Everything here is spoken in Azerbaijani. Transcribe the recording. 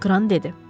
Kran dedi.